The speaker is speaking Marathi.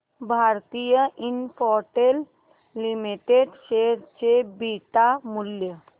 भारती इन्फ्राटेल लिमिटेड शेअर चे बीटा मूल्य